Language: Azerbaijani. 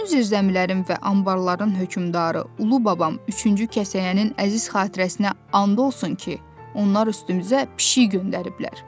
Bütün zirzəmilərin və anbarların hökmdarı ulu babam üçüncü kəsəyənin əziz xatirəsinə and olsun ki, onlar üstümüzə pişik göndəriblər.